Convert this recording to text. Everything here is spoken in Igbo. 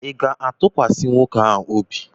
Ị ga-atụkwasị nwoke ahụ obi?